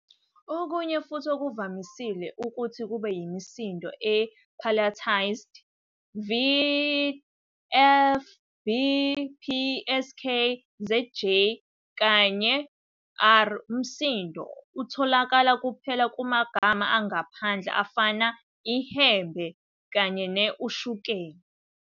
Okunye futhi okuvamisile ukuthi kube yimisindo e-palatalised vʲ, fʲ, bʲ, pʲ, skʲ, zgʲ, kanye ɽʲ. Umsindo utholakala kuphela kumagama angaphandle afana, 'ihembe', kanye ne-, 'ushukela'.